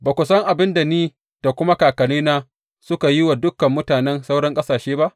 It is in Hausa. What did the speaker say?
Ba ku san abin da ni da kuma kakannina suka yi wa dukan mutanen sauran ƙasashe ba?